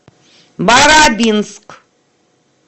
барабинск